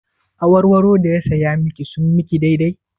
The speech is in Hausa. Awarwaro da ya saya miki sun miki daidai?